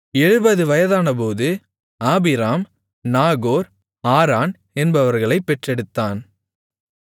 70 வயதானபோது Abram Nahor Haran என்பவர்களைப் பெற்றெடுத்தான்